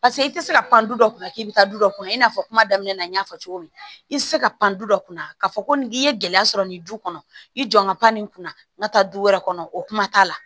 Paseke i tɛ se ka pan du dɔ kun na k'i bɛ taa du dɔ kɔnɔ i n'a fɔ kuma daminɛ na n y'a fɔ cogo min i tɛ se ka pan du dɔ kunna k'a fɔ ko nin k'i ye gɛlɛya sɔrɔ nin du kɔnɔ i jɔ n ka pan nin kunna n ka taa du wɛrɛ kɔnɔ o kuma t'a la